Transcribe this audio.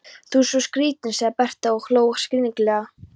Sú er skrýtin, sagði Berta og hló skringilega.